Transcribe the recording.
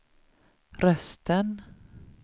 rösten